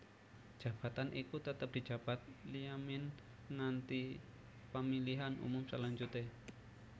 Jabatan iku tetep dijabat Liamine nganti pamilihan umum salanjuté